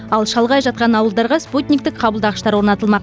ал шалғай жатқан ауылдарға спутниктік қабылдағыштар орнатылмақ